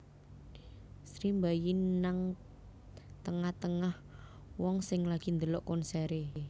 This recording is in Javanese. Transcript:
Sri mbayi nang tenga tengah wong sing lagi ndelok konsere